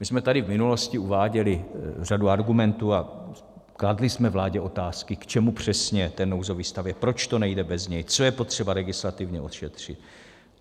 My jsme tady v minulosti uváděli řadu argumentů a kladli jsme vládě otázky, k čemu přesně ten nouzový stav je, proč to nejde bez něj, co je potřeba legislativně ošetřit.